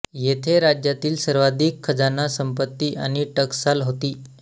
येथे राज्यातील सर्वाधिक खजाना सम्पत्ति आणि टकसाल होती